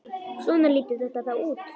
Svona lítur þetta þá út.